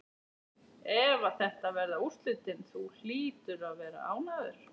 Ef að þetta verða úrslitin, þú hlýtur að vera ánægður?